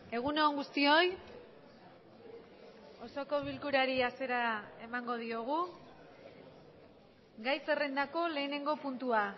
egun on guztioi osoko bilkurari hasiera emango diogu gai zerrendako lehenengo puntua